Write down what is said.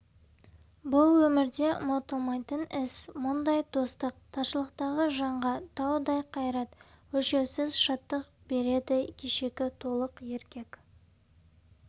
бұл өмірде ұмытылмайтын іс мұндай достық таршылықтағы жанға таудай қайрат өлшеусіз шаттық береді кешегі толық еркек